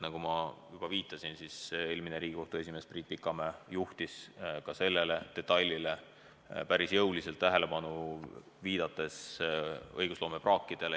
Nagu ma juba viitasin, eelmine Riigikohtu esimees Priit Pikamäe juhtis ka sellele päris jõuliselt tähelepanu, viidates õigusloome praagile.